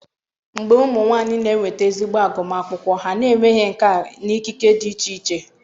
mgbe ụmụ nwanyị na-enweta ezigbo agụmakwụkwọ, ha na-emeghe nkà na ikike dị iche iche.